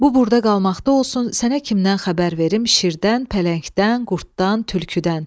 Bu burda qalmaqda olsun, sənə kimdən xəbər verim, şirdən, pələngdən, qurddan, tülküdən.